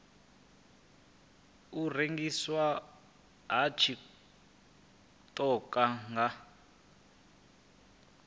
u rengiswa ha tshiṱoko nga